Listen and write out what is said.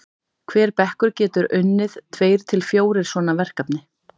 hver bekkur getur unnið tveir til fjórir svona verkefni